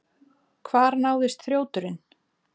Hvar náðist þrjóturinn?